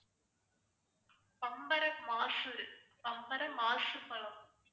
பம்பரமாசு பம்பரமாசுப்பழம்